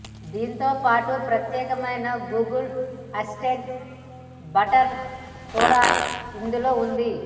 దీంతోపాటు ప్రత్యేకమైన Google Assistant button కూడా ఇందులో ఉంది